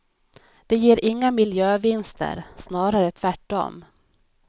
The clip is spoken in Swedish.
Det ger inga miljövinster, snarare tvärtom.